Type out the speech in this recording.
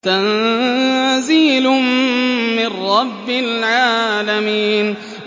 تَنزِيلٌ مِّن رَّبِّ الْعَالَمِينَ